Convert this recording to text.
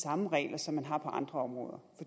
samme regler som man har på andre områder